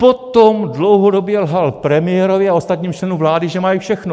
Potom dlouhodobě lhal premiérovi a ostatním členům vlády, že mají všechno.